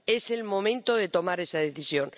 Es el momento de tomar esa decisión.